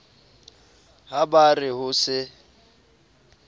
ha ba re ho se